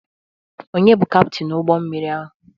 Ònye bụ Kaptin ụgbọmmiri ahụ?